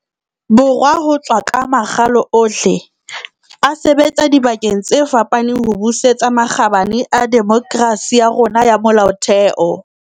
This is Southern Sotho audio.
Borwa ho tswa ka makgalo ohle, a sebetsa dibakeng tse fapaneng ho busetsa makgabane a demokerasi ya rona ya molaotheo.